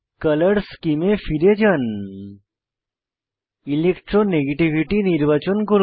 colour সেমে এ ফিরে যান ইলেকট্রোনেগেটিভিটি নির্বাচন করুন